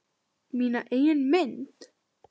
Mína eigin mynd.